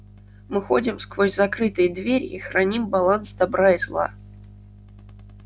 мы ходим сквозь закрытые двери и храним баланс добра и зла